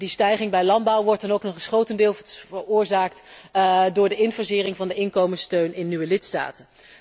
En die stijging bij landbouw wordt dan ook nog eens grotendeels veroorzaakt door de infasering van de inkomenssteun in nieuwe lidstaten.